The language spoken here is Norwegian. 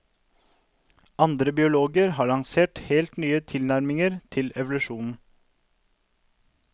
Andre biologer har lansert helt nye tilnærminger til evolusjonen.